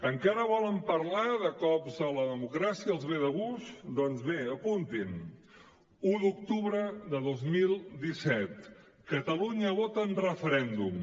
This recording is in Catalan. encara volen parlar de cops a la democràcia els ve de gust doncs bé apuntin un d’octubre de dos mil disset catalunya vota en referèndum